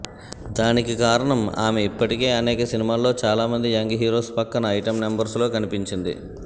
దానికి కారణం ఆమె ఇప్పటికే అనేక సినిమాల్లో చాలామంది యంగ్ హీరోస్ పక్కన ఐటమ్ నంబర్స్లో కనిపించింది